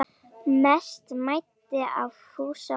Mest mæddi á Fúsa og